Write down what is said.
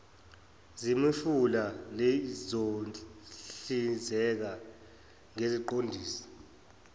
zemifula lizohlinzeka ngeziqondiso